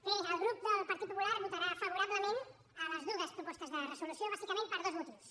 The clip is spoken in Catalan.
bé el grup del partit popular votarà favorablement les dues propostes de resolució bàsicament per dos motius